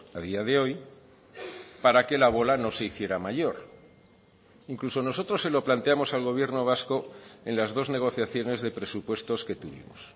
a día de hoy para que la bola no se hiciera mayor incluso nosotros se lo planteamos al gobierno vasco en las dos negociaciones de presupuestos que tuvimos